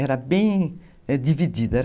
Era bem dividida, né.